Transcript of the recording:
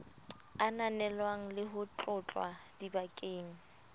ananelwang le ho tlotlwa dibakeng